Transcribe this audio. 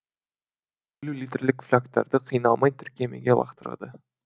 елу литрлік флягтарды қиналмай тіркемеге лақтырды